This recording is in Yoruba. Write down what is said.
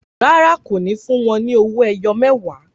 Rárá, kò ní fún wọn ní owó ẹyọ mẹwa